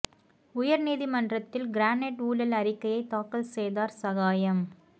உயர் நீதி மன்றத்தில் கிரானைட் ஊழல் அறிக்கையை தாக்கல் செய்தார் சகாயம்